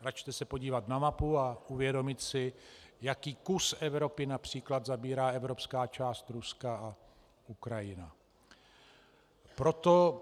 Račte se podívat na mapu a uvědomit si, jaký kus Evropy například zabírá evropská část Ruska a Ukrajina.